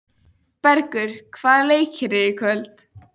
Bergur, hvaða leikir eru í kvöld?